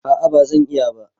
A'a ba zan iya ba